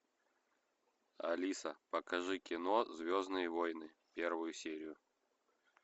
алиса покажи кино звездные войны первую серию